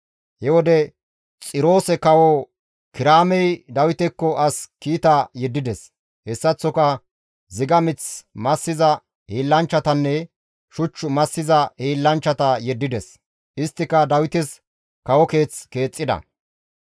He wode Xiroose kawo Kiraamey Dawitekko as kiita yeddides; hessaththoka ziga mith massiza hiillanchchatanne shuch massiza hiillanchchata yeddides; isttika Dawites kawo keeth keexxida.